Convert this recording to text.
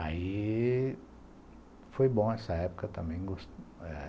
Aí, foi bom essa época também.